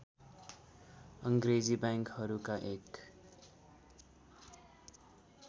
अङ्ग्रेजी बैंकहरूका एक